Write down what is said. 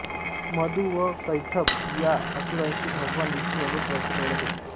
मधु व कैटभ या असुरांशी भगवान विष्णू अनेक वर्षे लढत होते